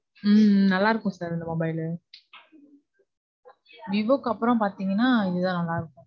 உம் நல்லா இருக்கும் sir இந்த mobile லு. விவோக்கு அப்புறம் பாத்தீங்கனா, இதான் நல்லா இருக்கும்.